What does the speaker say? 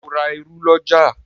Ṣe o rá ìrù l'ọja?